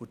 sollen.